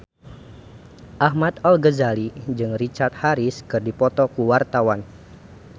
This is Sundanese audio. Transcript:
Ahmad Al-Ghazali jeung Richard Harris keur dipoto ku wartawan